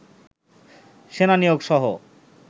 সেনা নিয়োগ সহ